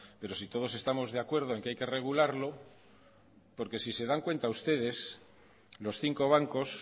pero si todos estamos de acuerdo en que hay que regularlo porque si se dan cuentan ustedes los cinco bancos